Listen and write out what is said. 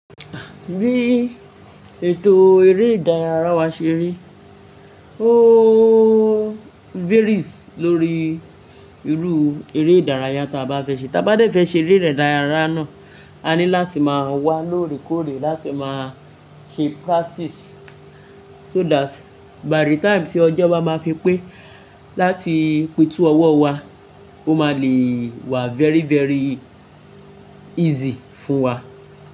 Bí ètò eré ìdárayá wa ṣe rí, o varies lórí irú eré ìdárayá tí a bá fẹ́ ṣe. Tí a bá dé fẹ́ ṣe eré ìdárayá náà, a ní láti máa wá lóòrèkóòrè, láti máa ṣe practice so that by the time tí ọjọ́ bá máa fi pé láti pètú ọwọ́ wa, ó máa le wà very very easy fún wa.